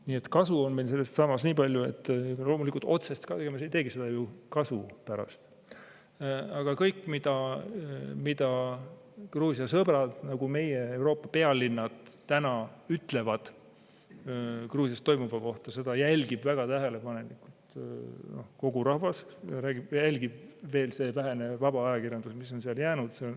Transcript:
Nii et kasu on sellest nii palju – loomulikult, otseselt ei tee me seda ju kasu pärast –, et kõike, mida sellised Gruusia sõbrad nagu meie ja Euroopa pealinnad täna ütlevad Gruusias toimuva kohta, jälgib väga tähelepanelikult kogu rahvas, jälgib veel see vähene vaba ajakirjandus, mis on seal jäänud.